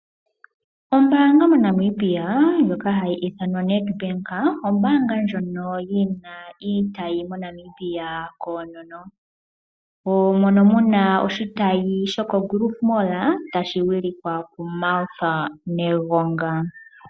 Ombaanga moNamibia ndjono hayi ithanwa Nedbank, ombaanga ndjono yina iitayi moNamibia koonono. Mono muna oshitayi shoko Groove mall tashi wilikwa ku Martha Negonga